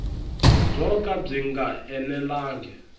byo ka byi nga enelangi